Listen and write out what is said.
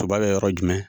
Toba bɛ yɔrɔ jumɛn